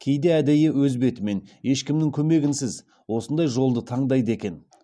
кейде әдейі өз бетімен ешкімнің көмегінсіз осындай жолды таңдайды екен